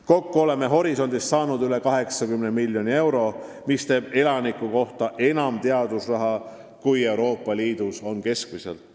Kokku oleme Horisondist saanud üle 80 miljoni euro, mis teeb elaniku kohta enam teadusraha kui Euroopa Liidus keskmiselt.